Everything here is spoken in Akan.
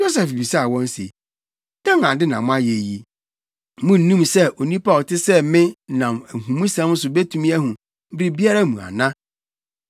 Yosef bisaa wɔn se, “Dɛn ade na moayɛ yi? Munnim sɛ onipa a ɔte sɛ me nam nhumusɛm so betumi ahu biribiara mu ana?”